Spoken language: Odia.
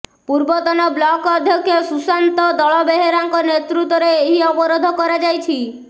ପୂର୍ବତନ ବ୍ଳକ୍ ଅଧ୍ୟକ୍ଷ ସୁଶାନ୍ତ ଦଳବେହେରାଙ୍କ ନେତୃତ୍ୱରେ ଏହି ଅବରୋଧ କରାଯାଇଛି